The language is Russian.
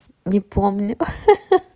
не помню ха-ха